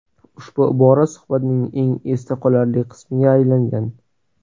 Ushbu ibora suhbatning eng esda qolarli qismiga aylangan.